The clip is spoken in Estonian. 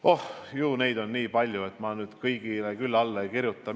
Oh, neid on nii palju ja ma kõigele küll alla ei kirjutaks.